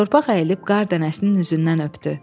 Torpaq əyilib qar dənəsinin üzündən öpdü.